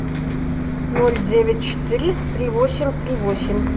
ноль девять четыре три восемь три восемь